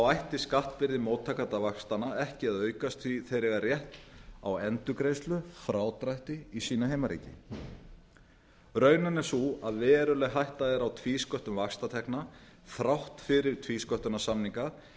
ætti skattbyrði móttakanda vaxtanna ekki að aukast því að þeir eiga rétt á endurgreiðslu frádrætti í sínu heimaríki raunin er sú að veruleg hætta er á tvísköttun vaxtatekna þrátt fyrir tvísköttunarsamninga